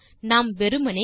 நாம் வெறுமே